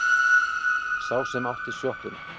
Sá sem átti sjoppuna.